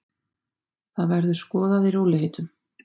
Það verður skoðað í rólegheitum.